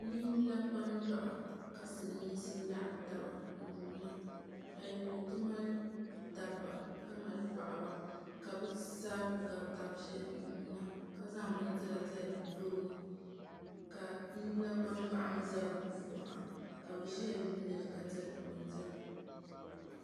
Ninyulakpanjɔɣu ka silimiinsi laɣimvtaba n-yuuna bɛ puuni ti mali dabba ka mali paɣiba ka bɛ zaa ku ɡabi taba ʒiya n-yuuna ka zaŋ bindira zali bɛ tooni ka ninyulakpanjɔɣu mi za di kɔŋko ha